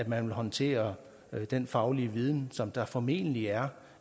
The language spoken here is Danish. man vil håndtere den faglige viden som der formentlig er